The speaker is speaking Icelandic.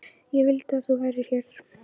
Ég vildi að þú værir hér.